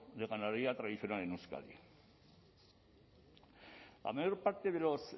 de ganadería tradicional en euskadi la mayor parte de los